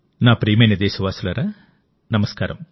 నా ప్రియమైన దేశవాసులారా నమస్కారం